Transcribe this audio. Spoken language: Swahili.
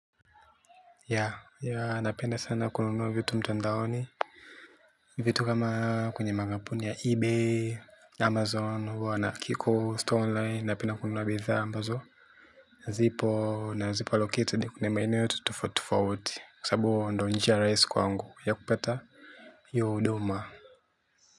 Napenda sana kununua vitu mtandaoni. Vitu kama kwenye makampuni ya Ebay Amazon huwa na kiko stone line. Napenda kununua bidhaa ambazo zipo na zipo allocated ni kwenye maeneo yote tofauti tofauti kwa sababu ndiyo njia rahisi kwa angu ya kupata hiyo huduma.